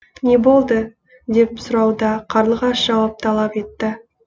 не болды деп сұрауда қарлығаш жауап талап етті